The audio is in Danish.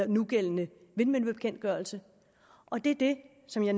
nugældende vindmøllebekendtgørelse og det er det som jeg